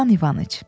İvan İvanıç.